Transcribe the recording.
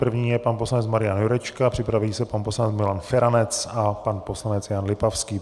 První je pan poslanec Marian Jurečka, připraví se pan poslanec Milan Feranec a pan poslanec Jan Lipavský.